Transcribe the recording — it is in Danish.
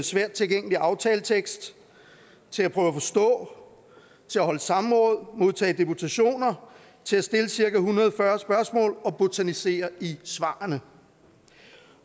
svært tilgængelig aftaletekst til at prøve at forstå til at holde samråd modtage deputationer til at stille cirka en hundrede og fyrre spørgsmål og botanisere i svarene